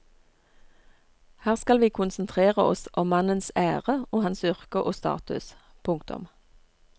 Her skal vi konsentrere oss om mannens ære og hans yrke og status. punktum